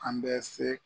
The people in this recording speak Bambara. An bɛ se